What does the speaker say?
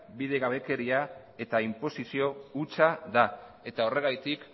bidegabekeria eta inposizio hutsa da eta horregatik